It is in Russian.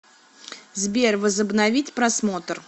сбер возобновить просмотр